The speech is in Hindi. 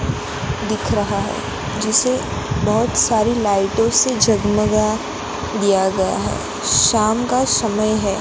दिख रहा है जिसे बहोत सारी लाइटों से जगमगा दिया गया है शाम का समय है।